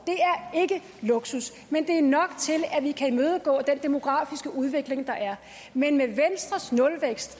det luksus men det er nok til at vi kan imødegå den demografiske udvikling der er men med venstres nulvækst